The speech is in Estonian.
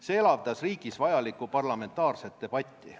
See elavdab riigis vajalikku parlamentaarset debatti.